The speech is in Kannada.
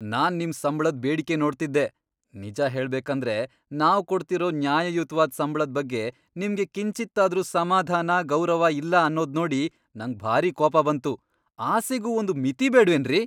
ನಾನ್ ನಿಮ್ ಸಂಬ್ಳದ್ ಬೇಡಿಕೆ ನೋಡ್ತಿದ್ದೆ, ನಿಜ ಹೇಳ್ಬೇಕಂದ್ರೆ, ನಾವ್ ಕೊಡ್ತಿರೋ ನ್ಯಾಯಯುತ್ವಾದ್ ಸಂಬ್ಳದ್ ಬಗ್ಗೆ ನಿಮ್ಗೆ ಕಿಂಚಿತ್ತಾದ್ರೂ ಸಮಾಧಾನ, ಗೌರವ ಇಲ್ಲ ಅನ್ನೋದ್ನೋಡಿ ನಂಗ್ ಭಾರಿ ಕೋಪ ಬಂತು, ಆಸೆಗೂ ಒಂದ್ ಮಿತಿ ಬೇಡ್ವೇನ್ರಿ!